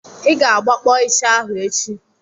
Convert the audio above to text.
I ga-agbakpọ ịsha ahụ echi!